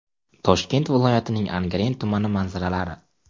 Toshkent viloyatining Angren tumani manzaralari.